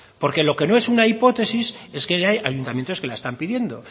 porque lo que no es una hipótesis es que ya hay ayuntamientos que las están pidiendo